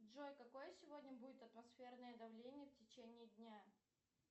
джой какое сегодня будет атмосферное давление в течение дня